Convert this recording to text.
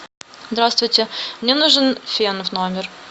здравствуйте мне нужен фен в номер